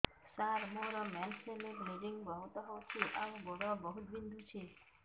ସାର ମୋର ମେନ୍ସେସ ହେଲେ ବ୍ଲିଡ଼ିଙ୍ଗ ବହୁତ ହଉଚି ଆଉ ଗୋଡ ବହୁତ ବିନ୍ଧୁଚି